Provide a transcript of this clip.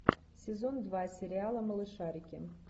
сезон два сериала малышарики